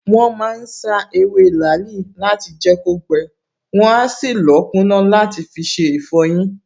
Wọ́n ma ń sá ewé làálì láti jẹ́ kó gbẹ, wọn á sì lọ̀ọ́ kúná làti fiṣe ìfọyín